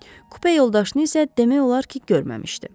Kupe yoldaşını isə demək olar ki, görməmişdi.